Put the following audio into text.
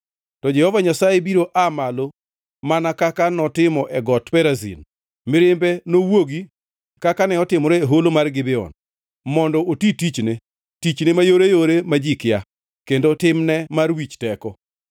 To Jehova Nyasaye biro aa malo mana kaka notimo e Got Perazim, mirimbe nowuogi kaka ne otimore e Holo mar Gibeon, mondo oti tichne, tichne mayoreyore ma ji kia kendo timne mar wich teko.